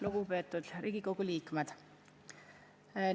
Lugupeetud Riigikogu liikmed!